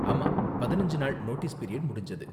ஆமா பதினஞ்சு நாள் நோட்டீஸ் பீரியட் முடிஞ்சது.